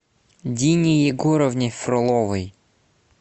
дине егоровне фроловой